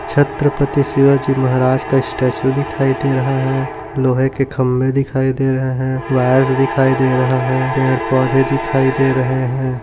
छत्रपती शिवाजी महाराज का स्टेचू दिखाई दे रहा है लोहे के खंबे दिखाई दे रहे है वायर्स दिखाई दे रहा है पेड़ पौधे दिखाई दे रहे है।